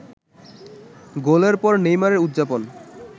গোলের পর নেইমারের উদযাপন